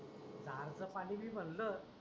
जार च पानी बी म्हणल